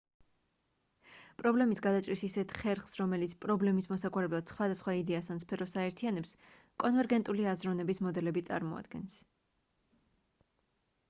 პრობლემის გადაჭრის ისეთ ხერხს რომელიც პრობლემის მოსაგვარებლად სხვადასხვა იდეას ან სფეროს აერთიანებს კონვერგენტული აზროვნების მოდელები წარმოადგენს